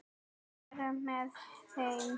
Að vera með þeim.